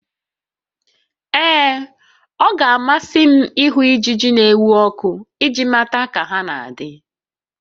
Ee, ọ ga-amasị m ịhụ ijiji n'enwu ọkụ iji mata ka ha na adị